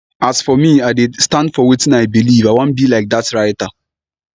as for me i dey stand for wetin i believe i wan be like dat writer